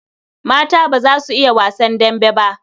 Mata ba za su iya wasan dambe ba.